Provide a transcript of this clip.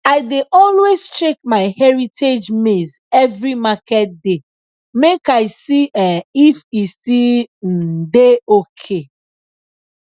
i dey always check my heritage maize every market day make i see um if e still um dey ok